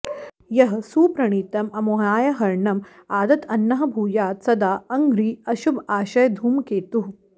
यः सुप्रणीतम् अमुयार्हणम् आदत् अन्नः भूयात् सदा अङ्घ्रिः अशुभआशयधूमकेतुः